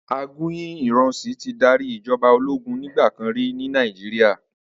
Aguyi Ironsi ti dàrí ijòbá ólógùn nigbàkán ri ni Nàijiriá